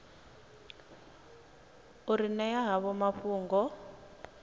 u ri ṅea havho mafhungo